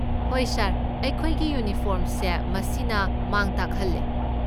ꯍꯣꯏ ꯁꯥꯔ, ꯑꯩꯈꯣꯏꯒꯤ ꯌꯨꯅꯤꯐꯣꯔꯝꯁꯦ ꯃꯁꯤꯅ ꯃꯥꯡ ꯇꯥꯛꯍꯜꯂꯦ꯫